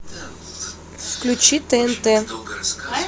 включи тнт